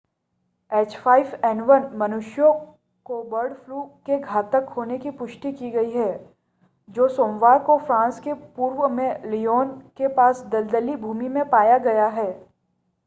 h5n1 मनुष्यों को bird flu के घातक होने की पुष्टि की गई है जो सोमवार को फ्रांस के पूर्व में ल्योन के पास दलदली भूमि में पाया गया है।